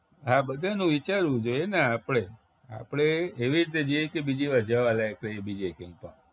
હા બધાંયનું વિચારવું જોઈએને આપણે આપણે એવી રીતે જઈએ કે બીજી વાર જાવા લાયક રહીએ બીજે ક્યાંક